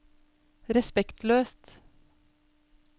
respektløst